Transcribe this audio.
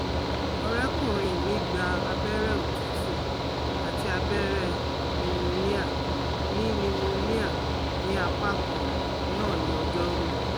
Ọ̀rẹ́kùnrin mi gba abẹ́rẹ́ òtútù àti abẹ́rẹ́ pneumonia ní pneumonia ní apá kan náà ní ọj́ọ́rú